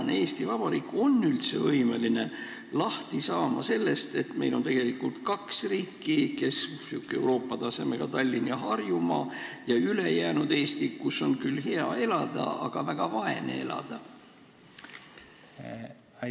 Kas Eesti Vabariik on üldse võimeline lahti saama sellest, et meil on tegelikult kaks riiki: Euroopa tasemega Tallinn ja Harjumaa ning ülejäänud Eesti, kus on küll hea elada, aga tuleb väga vaeselt elada?